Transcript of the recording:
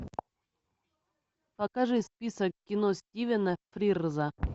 покажи список кино стивена фрирза